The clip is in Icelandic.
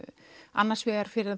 annars vegar fyrir